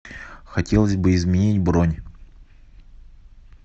хотелось бы изменить бронь